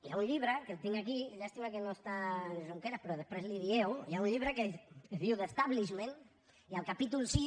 hi ha un llibre que el tinc aquí llàstima que no hi ha en junqueras però després li ho dieu que es diu the establishment i al capítol vi